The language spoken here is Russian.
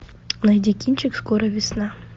найди кинчик скоро весна